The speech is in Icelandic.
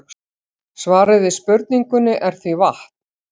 Svarið við spurningunni er því vatn.